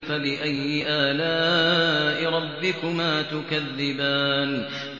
فَبِأَيِّ آلَاءِ رَبِّكُمَا تُكَذِّبَانِ